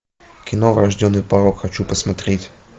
кино врожденный порок хочу посмотреть